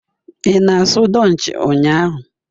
Ị na-asụ Dutch ụnyahụ?